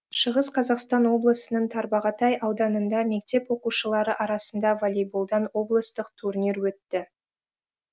шығыс қазақстан облысының тарбағатай ауданында мектеп оқушылары арасында волейболдан облыстық турнир өтті